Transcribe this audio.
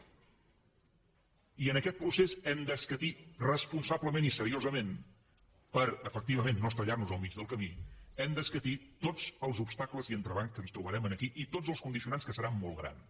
i en aquest procés hem d’escatir responsablement i seriosament per efectivament no estavellar nos al mig del camí tots els obstacles i entrebancs que ens trobarem aquí i tots els condicionants que seran molt grans